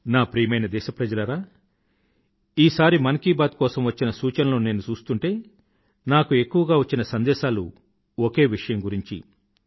నా ప్రియమైన దేశప్రజలారా ఈ సారి మన్ కీ బాత్ కోసం వచ్చిన సూచనలను నేను చూస్తూంటే నాకు ఎక్కువగా వచ్చిన సందేశాలు ఒకే విషయం గురించి